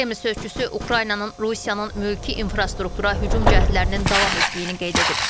Kreml sözçüsü Ukraynanın Rusiyanın mülki infrastruktura hücum cəhdlərinin davam etdiyini qeyd edib.